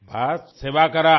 बस सेवा कीजिए